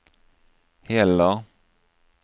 heller